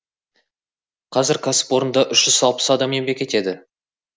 қазір кәсіпорында үш жүз алпыс адам еңбек етеді